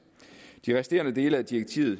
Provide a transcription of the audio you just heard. de resterende dele af direktivet